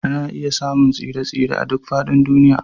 Ana iya samun tsire-tsire a duk faɗin duniya